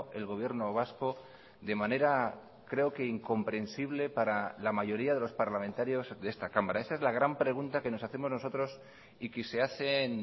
el gobierno vasco de manera creo que incomprensible para la mayoría de los parlamentarios de esta cámara esa es la gran pregunta que nos hacemos nosotros y que se hacen